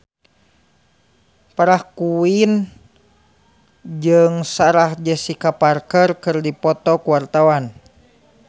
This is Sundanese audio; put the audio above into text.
Farah Quinn jeung Sarah Jessica Parker keur dipoto ku wartawan